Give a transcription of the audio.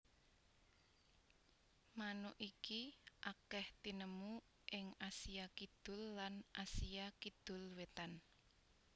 Manuk iki akèh tinemu ing Asia Kidul lan Asia Kidul wétan